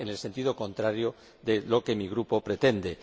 Van en el sentido contrario a lo que mi Grupo pretende.